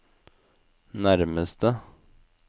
nærmeste